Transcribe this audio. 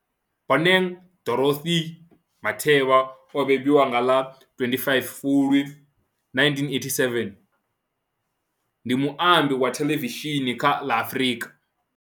Bonang Dorothy Matheba o bebiwa nga ḽa 25 Fulwi 1987, ndi muambi wa theḽevishini kha ḽa Afrika.